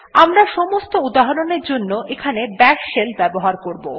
আমরা সমস্ত উদাহরণ এর জন্য এখানে বাশ শেল ব্যবহার করব